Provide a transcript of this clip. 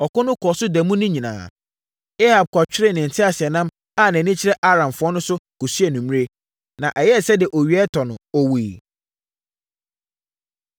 Ɔko no kɔɔ so da mu no nyinaa. Ahab kɔtweree ne teaseɛnam a nʼani kyerɛ Aramfoɔ no de kɔsii anwummerɛ. Na ɛyɛɛ sɛdeɛ owia rekɔtɔ no, ɔwuiɛ.